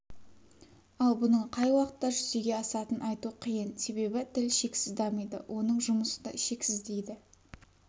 ал бұның қай уақытта жүзеге асатынын айту қиын себебі тіл шексіз дамиды оның жұмысы да шексіз дейді